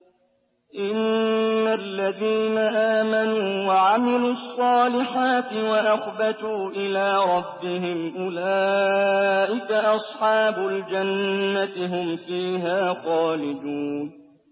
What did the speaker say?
إِنَّ الَّذِينَ آمَنُوا وَعَمِلُوا الصَّالِحَاتِ وَأَخْبَتُوا إِلَىٰ رَبِّهِمْ أُولَٰئِكَ أَصْحَابُ الْجَنَّةِ ۖ هُمْ فِيهَا خَالِدُونَ